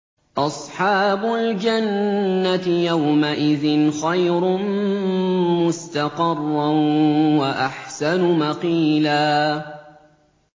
أَصْحَابُ الْجَنَّةِ يَوْمَئِذٍ خَيْرٌ مُّسْتَقَرًّا وَأَحْسَنُ مَقِيلًا